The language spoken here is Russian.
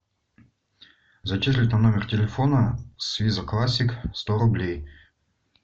зачислить на номер телефона с виза классик сто рублей